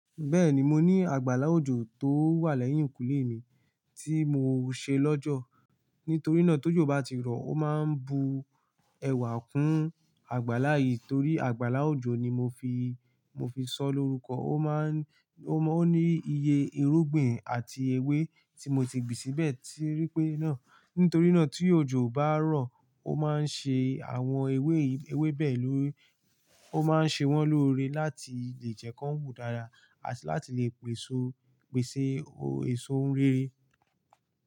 Bẹ́ẹ̀ni, mo ní àgbàlá òjò tó wà lẹ́yìnkùlé mi ti mo ṣe lọ́jọ́. Nítorí náà tó jò bá ti rọ, ó máa n bu ẹwà kún àgbàlá yìí torí àgbàlá òjò ni mo fi, mo fi sọ lórúkọ. Ó má n, ó ní iye irúgbìn àti ewé tí mo ti gbìn síbẹ̀ ti ríi pé náà. Nítorí náà tí òjò bá rọ̀, ó máa ń ṣe àwọn ewé, ewé bẹ́ẹ̀ ló, ó máa ń ṣe wọ́n lóore láti lè jẹ́ kí wọ́n wù dára àti láti lè pèsè, pèsè èso rere.